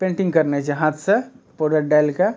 Painting करनेए छै हाथ से पाउडर डाल के।